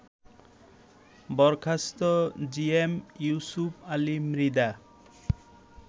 বরখাস্ত জিএম ইউসুপ আলী মৃধা